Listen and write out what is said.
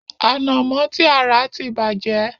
Ànàmo ti a rà ti bàjẹ́.